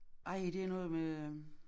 Ej det noget med øh